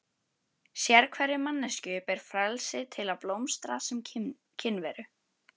Sérhverri manneskju ber frelsi til að blómstra sem kynveru.